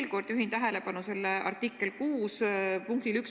Ma juhin veel kord tähelepanu artikli 6 punktile 1.